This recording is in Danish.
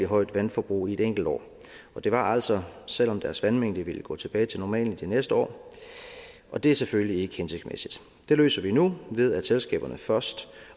højt vandforbrug i et enkelt år og det var altså selv om deres vandmængde ville gå tilbage til normalen det næste år og det er selvfølgelig ikke hensigtsmæssigt det løser vi nu ved at selskaberne først